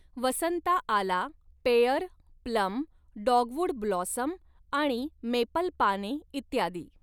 वसंता आला pear, plum, dogwood blossom आणि मेपलपाने इत्यादी.